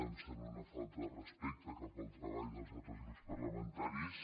em sembla una falta de respecte cap al treball dels altres grups parlamentaris